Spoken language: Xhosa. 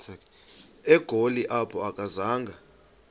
egoli apho akazanga